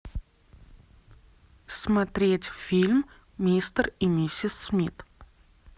смотреть фильм мистер и миссис смит